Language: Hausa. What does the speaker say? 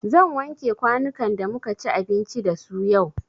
Zan wanke kwanukan da muka ci abinci da su yau.